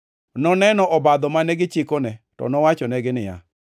Noneno obadho mane gichikone to nowachonegi niya,